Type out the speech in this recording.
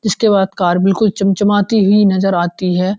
इसके बाद कार कुछ चम चमाती नज़र आती है।